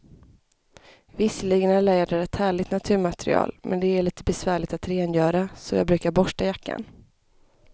Visserligen är läder ett härligt naturmaterial, men det är lite besvärligt att rengöra, så jag brukar borsta jackan.